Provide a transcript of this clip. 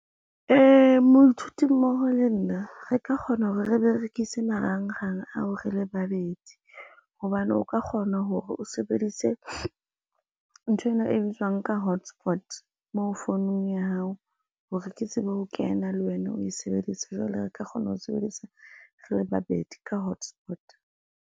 Moithuti mmoho le nna re ka kgona hore re berekise marangrang ao re le babedi hobane o ka kgona hore o sebedise, nthwena e bitswang ka hotspot moo founung ya hao hore ke tsebe ho kena le wena o e sebeditse. Jwale re ka kgona ho sebedisa re le babedi ka hotspot.